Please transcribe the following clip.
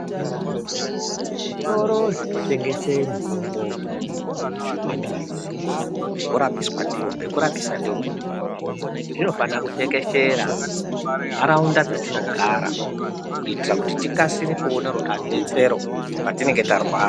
Zvitoro zvinotengese mitombo kana maphilizi ekuraoiswa ndiwo zvinofanira kutekeshera muntaraunda dzatinogara kuitira kuti tikasire kuona rudetsero patinenge tarwara.